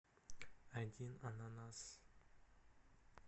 один ананас